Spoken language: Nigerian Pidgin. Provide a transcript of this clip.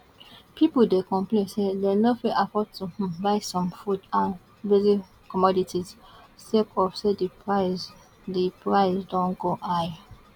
pipo dey complain say dem no fit afford to um buy some food and basic commodities sake of say di price di price don go high